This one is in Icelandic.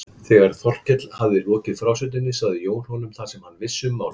Þegar Þórkell hafði lokið frásögninni sagði Jón honum það sem hann vissi um málið.